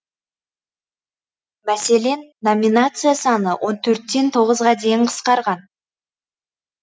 мәселен номинация саны он төрттен тоғызға дейін қысқарған